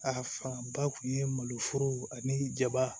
A fan ba tun ye maloforo ani jaba